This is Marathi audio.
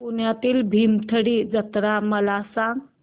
पुण्यातील भीमथडी जत्रा मला सांग